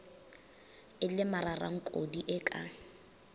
e le mararankodi e ka